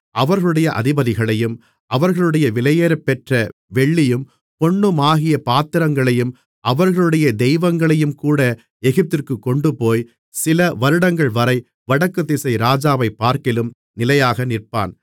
அவர்களுடைய அதிபதிகளையும் அவர்களுடைய விலையேறப்பெற்ற வெள்ளியும் பொன்னுமாகிய பாத்திரங்களையும் அவர்களுடைய தெய்வங்களையுங்கூட எகிப்திற்குக் கொண்டுபோய் சில வருடங்கள்வரை வடக்குதிசை ராஜாவைப்பார்க்கிலும் நிலையாக நிற்பான்